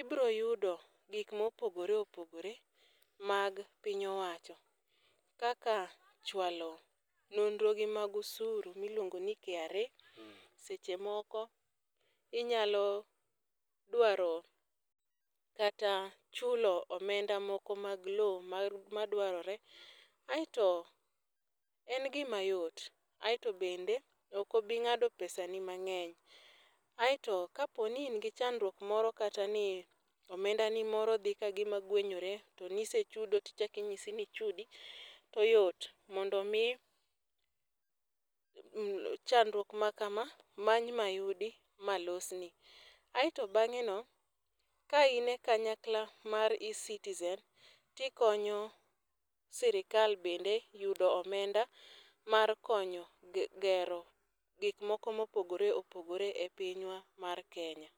ibiro yudo gik ma opogore opogore mag piny owacho. Kaka chwalo nondro gi mag osuru ma iluongo ni KRA, seche moko inyalo dwaro kata chulo omenda moko mag lowo madwarore. Aeto en gima yot. Aeto bende ok obingádo pesa ni mangény. Aeto ka po ni in gi chandruok moro kata ni omenda ni moro dhi kagima gwenyore, to nisechudo tichak inyisi ni ichudi, to yot mondo omi, chandruok ma kama, many mayudi. Malosni. Aeto bangéno ka ine kanyakla mar Ecitizen to ikonyo serikal bende yudo omenda mar konyo gero gik moko ma opogore opogore e pinywa mar Kenya.